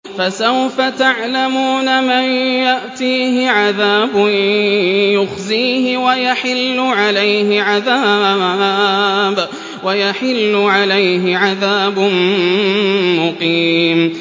فَسَوْفَ تَعْلَمُونَ مَن يَأْتِيهِ عَذَابٌ يُخْزِيهِ وَيَحِلُّ عَلَيْهِ عَذَابٌ مُّقِيمٌ